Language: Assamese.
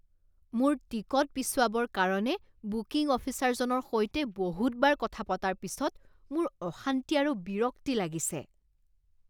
মোৰ টিকট পিছুৱাবৰ কাৰণে বুকিং অফিচাৰজনৰ সৈতে বহুতবাৰ কথা পতাৰ পিছত মোৰ অশান্তি আৰু বিৰক্তি লাগিছে।